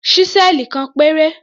Ṣísẹ́ẹ̀lì kan péré.